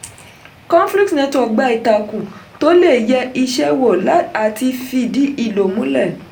conflux network gba ìtakùn tó le yẹ iṣẹ́ wò àti fìdí ìlò múlẹ̀.